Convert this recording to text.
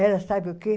Era sabe o quê?